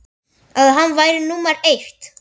að hann væri númer eitt.